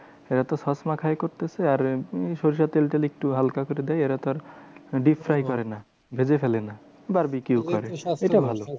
এরাতো সবসময় fry করতেছে আর সর্ষের তেল টেল একটু হালকা করে দেয়। এরা তো আর deep fry করে না ভেজে ফেলে না। barbeque করে, এটা ভালো।